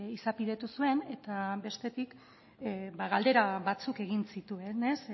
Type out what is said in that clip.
izapidetu zuen eta bestetik galdera batzuk egin zituen